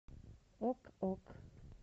ок ок